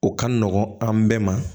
O ka nɔgɔn an bɛɛ ma